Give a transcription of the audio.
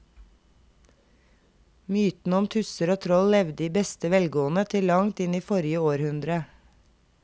Mytene om tusser og troll levde i beste velgående til langt inn i forrige århundre.